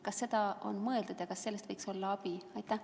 Kas selle peale on mõeldud ja kas neist võiks olla abi?